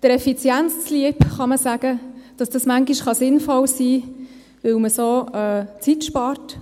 Der Effizienz zu liebe, kann man sagen, kann es manchmal sinnvoll sein, weil man so Zeit spart.